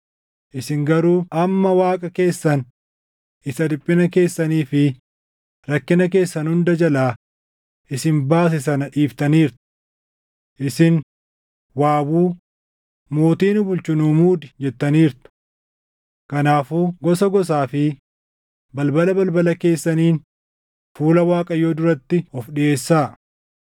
Isin garuu amma Waaqa keessan isa dhiphina keessanii fi rakkina keessan hunda jalaa isin baase sana dhiiftaniirtu. Isin, ‘waawuu; mootii nu bulchu nuu muudi’ jettaniirtu. Kanaafuu gosa gosaa fi balbala balbala keessaniin fuula Waaqayyoo duratti of dhiʼeessaa.”